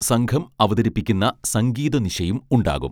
സംഘം അവതരിപ്പിക്കുന്ന സംഗീത നിശയും ഉണ്ടാകും